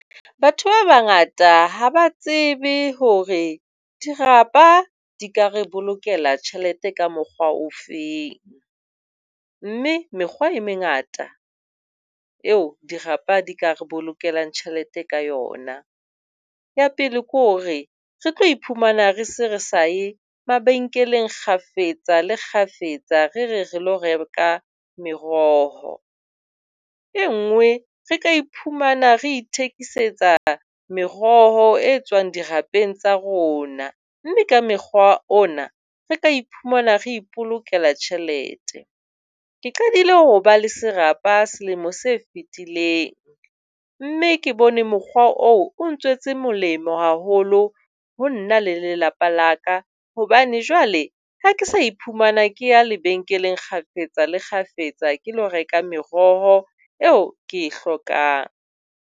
Batho ba bangata ha ba tsebe hore dirapa di ka re bolokela tjhelete ka mokgwa o feng mme mekgwa e mengata eo dirapa di ka re bolokelang tjhelete ka yona. Ya pele ke hore re tlo iphumana re se re sa ye mabenkeleng kgafetsakgafetsa re re re ilo reka meroho. E nngwe re ka iphumana re ithekisetsa meroho e tswang dirapeng tsa rona mme ka mokgwa ona re ka iphumana re ipolokela tjhelete. Ke qadile ho ba le serapa selemo se fetileng, mme ke bone mokgwa oo o ntswetse molemo haholo ho nna le lelapa la ka, hobane jwale ha ke sa iphumana ke ya lebenkeleng kgafetsakgafetsa, ke lio reka meroho eo ke e hlokang.